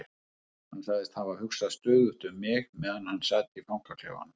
Hann sagðist hafa hugsað stöðugt um mig meðan hann sat í fangaklefanum.